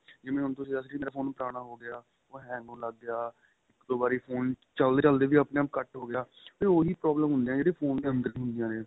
ਜੀਵਾਂ ਹੁਣ ਤੁਸੀਂ ਦਸ ਰਹੇ ਸੀ ਮੇਰਾ phone ਪੁਰਾਣਾ ਹੋ ਗਿਆ ਉਹ hang ਹੋਣ ਲੱਗ ਗਿਆ ਇੱਕ ਦੋ ਵਾਰੀ phone ਚੱਲਦੇ ਚੱਲਦੇ ਵੀ ਆਪਣੇ ਆਪਨ ਕੱਟ ਹੋ ਗਿਆ ਤੇ ਉਹੀ problem ਹੁੰਦੀਆਂ ਨੇ ਜਿਹੜੀਆਂ phone ਦੇ ਅੰਦਰ ਹੁੰਦੀਆਂ ਨੇ